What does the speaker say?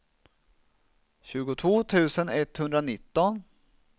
tjugotvå tusen etthundranitton